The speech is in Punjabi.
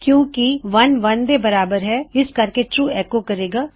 ਕਿਉਂ ਕਿ 1 1 ਦੇ ਬਰਾਬਰ ਹੈ ਇਸ ਕਰਕੇ ਇਹ ਟਰੂ ਐੱਕੋ ਕਰੇ ਗਾ